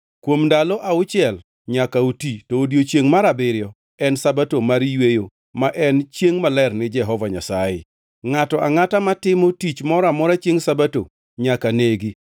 Kuom ndalo auchiel nyaka uti, to odiechiengʼ mar abiriyo en Sabato mar yweyo ma en chiengʼ maler ni Jehova Nyasaye. Ngʼato angʼata ma otimo tich moro amora chiengʼ Sabato nyaka negi.